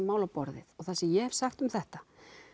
mál á borðið og það sem ég hef sagt um þetta